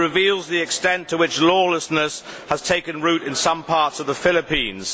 It reveals the extent to which lawlessness has taken root in some parts of the Philippines.